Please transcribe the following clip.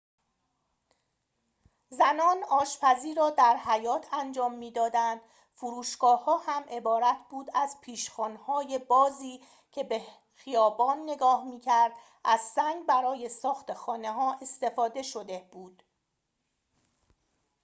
زنان آشپزی را در حیاط انجام می‌دادند فروشگاه‌ها هم عبارت بود از پیشخوان‌های بازی که به خیابان نگاه می‌کرد از سنگ برای ساخت خانه‌ها استفاده شده بود